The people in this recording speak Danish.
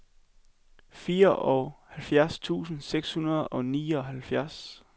fireoghalvfjerds tusind seks hundrede og nioghalvfjerds